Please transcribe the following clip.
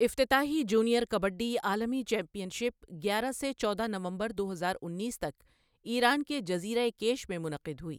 افتتاحی جونیئر کبڈی عالمی championship گیارہ سے چودہ نومبر دو ہزار انیس تک ایران کے جزیرۂ کیش میں منعقد ہوئی۔